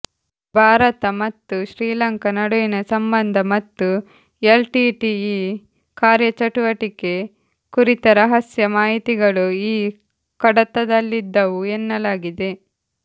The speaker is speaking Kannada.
ಭಾರತ ಮತ್ತು ಶ್ರೀಲಂಕಾ ನಡುವಿನ ಸಂಬಂಧ ಮತ್ತು ಎಲ್ಟಿಟಿಇ ಕಾರ್ಯಚಟುವಟಿಕೆ ಕುರಿತ ರಹಸ್ಯ ಮಾಹಿತಿಗಳು ಈ ಕಡತದಲ್ಲಿದ್ದವು ಎನ್ನಲಾಗಿದೆ